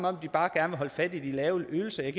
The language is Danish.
om de bare gerne holde fast i de lave ydelser jeg